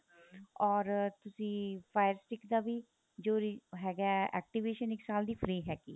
or ਤੁਸੀਂ fire stick ਦਾ ਵੀ ਜੋ ਹੈਗਾ activation ਇੱਕ ਸਾਲ ਦੀ free ਹੈਗੀ ਏ